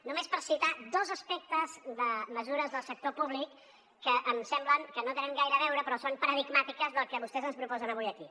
només per citar dos aspectes de mesures del sector públic que em sembla que no tenen gaire a veure però són paradigmàtiques del que vostès ens proposen avui aquí